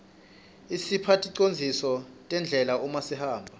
isipha ticondziso tendlela uma sihamba